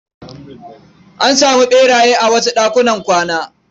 Ana samun ɓeraye a wasu ɗakunan kwana.